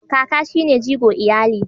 Kaka shi ne jigo iyali.